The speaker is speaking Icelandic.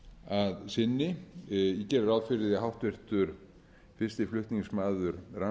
að sinni ég geri ráð fyrir því að háttvirtur fyrsti flutningsmaður